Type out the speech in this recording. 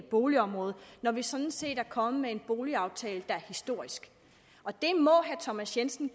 boligområde når vi sådan set er kommet med en boligaftale der er historisk og herre thomas jensen